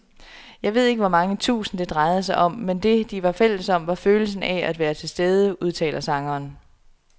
Jeg ved ikke hvor mange tusind, det drejede sig om, men det, de var fælles om, var følelsen af at være tilstede, udtaler sangeren.